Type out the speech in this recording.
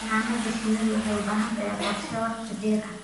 Xannaanada shinnidu waxay u baahan tahay qorshe wakhti dheer ah.